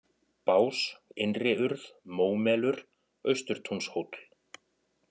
Bás, Innriurð, Mómelur, Austurtúnshóll